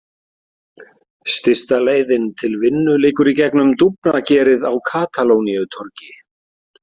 Stysta leiðin til vinnu liggur í gegnum dúfnagerið á Katalóníutorgi.